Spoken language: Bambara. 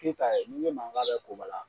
Kayita kɛ ni n k' i ma n k'a bɛ Kobala.